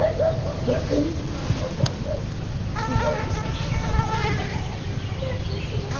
заткнись тварь и извиняюсь